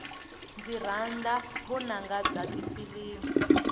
ndzi rhandza vunanga bya tifilimi